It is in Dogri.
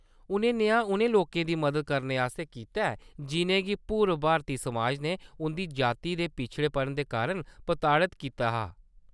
उʼनें नेहा उ'नें लोकें दी मदद आस्तै कीता ऐ जिʼनेंगी पूर्व भारती समाज ने उंʼदी जाति ते पिछड़ेपन दे कारण प्रताड़त कीतेदा हा।